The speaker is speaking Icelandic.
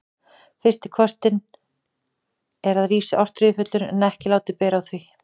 FYRSTI KOSSINN er að vísu ástríðufullur en ekki látið bera á því.